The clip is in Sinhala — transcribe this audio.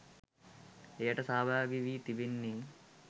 එයට සහභාගි වී තිබෙන්නේ